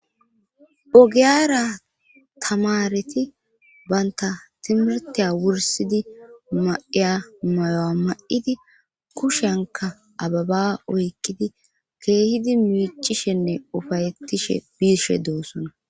Ogiyara tamareti banta timirtiya wursidi ma7iya mayo7a ma7idi kushenka ababa oykkidi keehidi miichishenne ufayeettishe biishe doossona.